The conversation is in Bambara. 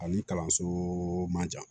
Ani kalanso man jan